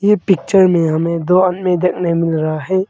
ये पिक्चर में हमें दो आदमी देखने मिल रहा है।